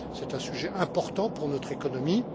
C'est un sujet important pour notre économie.